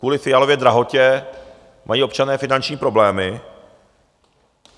Kvůli Fialově drahotě mají občané finanční problémy.